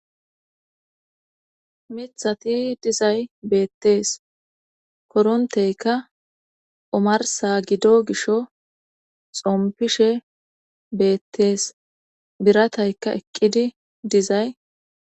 Mithati dizay beettees koronteyka umarsa gido gisho xompishe beettees birataykka eqqidi dizay